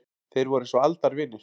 Þeir voru eins og aldavinir.